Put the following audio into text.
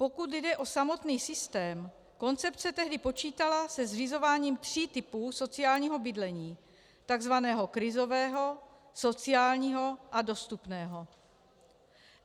Pokud jde o samotný systém, koncepce tehdy počítala se zřizováním tří typů sociální bydlení - tzv. krizového, sociálního a dostupného.